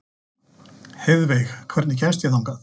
Heiðveig, hvernig kemst ég þangað?